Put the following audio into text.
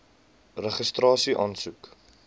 registrasieaansoek